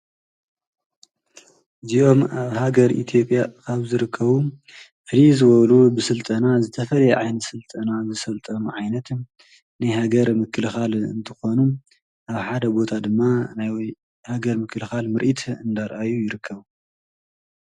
እዚኦም አብ ሃገር ኢትዮጵያ ካብ ዝርከቡ ፍልይ ዝበሉ ብስልጠና ዝተፈለየ ዓይነት ስልጠና ዝሰልጠኑ ዓይነት ናይ ሃገር ምክልካል እንትኽኑ ፤ አብ ሓደ ቦታ ድማ ናይ ሃገር ምክልካል ምርኢት እናረአዩ ይርከቡ።